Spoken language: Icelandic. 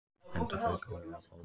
Enda fauk höfuðið af bolnum